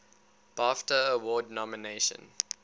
bafta award nomination